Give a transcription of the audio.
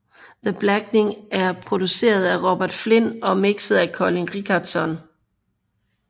The Blackening er produceret af Robert Flynn og mixet af Colin Richardson